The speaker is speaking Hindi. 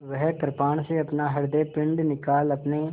वह कृपाण से अपना हृदयपिंड निकाल अपने